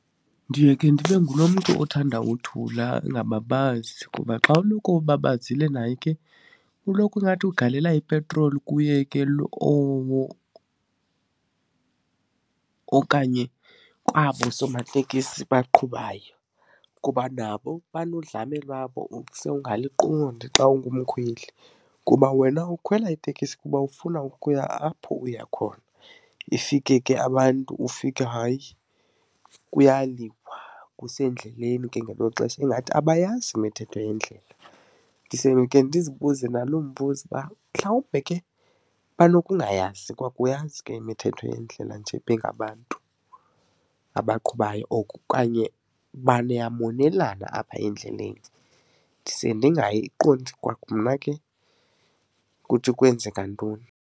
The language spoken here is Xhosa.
Ndiye ke ndibe ngulo mntu othanda uthula ndingababazi kuba xa uloko ubabazile naye ke kuloko ingathi ugalela ipetroli kuye ke owo okanye kwabo somateksi baqhubayo kuba nabo banodlame lwabo ose ungaliqondi xa ungumkhweli. Kuba wena ukhwela itekisi kuba ufuna ukuya apho uya khona ifike ke abantu ufike hayi kuyaliwa, usendleleni ke ngelo xesha ingathi abayazi imithetho yendlela. Ndise ndikhe ndizibuze naloo mbuzo uba mhlawumbe ke banokungayazi kwakuyazi ke imithetho yendlela nje bengabantu abaqhubayo okanye niyamonelana apha endleleni. Ndise ndingayiqondi kwamna ke ukuthi kwenzeka ntoni.